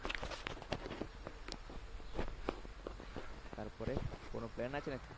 তারপরে কোনও plan আছে নাকি?